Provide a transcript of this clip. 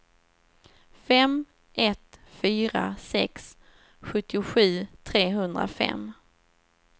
fem ett fyra sex sjuttiosju trehundrafem